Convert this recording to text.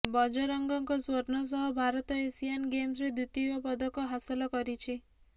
ବଜରଙ୍ଗଙ୍କ ସ୍ୱର୍ଣ୍ଣ ସହ ଭାରତ ଏସିଆନ ଗେମ୍ସରେ ଦ୍ୱିତୀୟ ପଦକ ହାସଲ କରିଛି